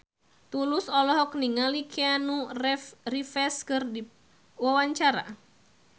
Tulus olohok ningali Keanu Reeves keur diwawancara